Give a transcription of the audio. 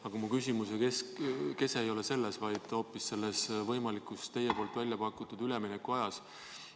Aga mu küsimuse kese ei ole selles, vaid hoopis võimalikus teie poolt välja pakutud üleminekuajas.